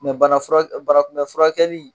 bana fura banakunbɛnfurakɛli